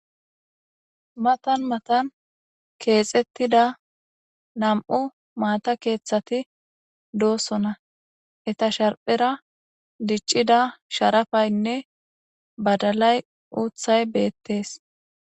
Matan matan keexettida nam'u maata keeththati doossona eta sharphera diccida sharafaynne badalay uuthay beettees